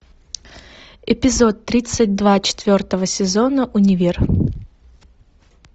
эпизод тридцать два четвертого сезона универ